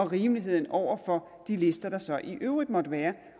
rimeligheden over for de lister der så i øvrigt måtte være